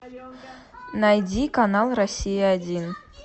найди канал россия один